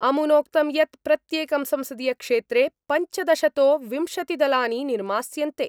अमुनोक्तं यत् प्रत्येकं संसदीयक्षेत्रे पञ्चदशतो विंशतिदलानि निर्मास्यन्ते।